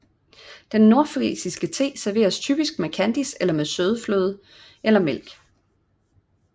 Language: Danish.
Den nordfrisiske te serveres typisk med kandis og med søde fløde eller mælk